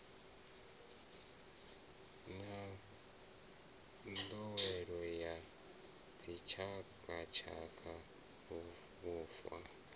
na nḓowelo ya dzitshakatshaka vhufa